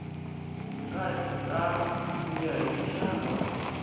ku ya hi muxaka wa